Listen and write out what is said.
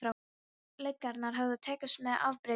Lygarnar höfðu tekist með afbrigðum vel.